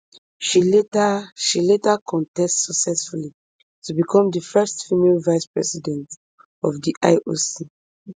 she later she later contest successfully to become di first female vicepresident of di ioc